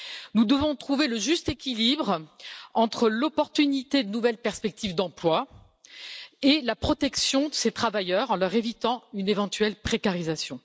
Nous devons trouver le juste équilibre entre l'opportunité de nouvelles perspectives d'emploi et la protection de ces travailleurs, en leur évitant une éventuelle précarisation.